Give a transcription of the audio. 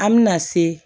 An bɛna se